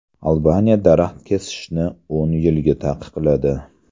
Albaniya daraxt kesishni o‘n yilga taqiqladi.